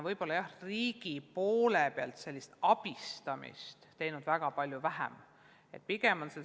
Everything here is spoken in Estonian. Võib-olla on riik selles osas vähe abistanud.